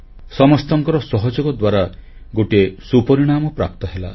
ସମସ୍ତଙ୍କର ସହଯୋଗ ଦ୍ୱାରା ଗୋଟିଏ ସୁପରିଣାମ ପ୍ରାପ୍ତ ହେଲା